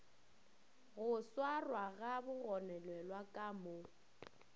go swarwaga bagononelwa ka mo